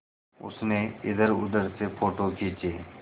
उसने इधरउधर से फ़ोटो खींचे